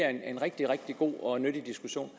er en rigtig rigtig god og nyttig diskussion